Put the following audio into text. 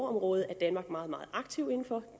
området er danmark meget meget aktiv inden for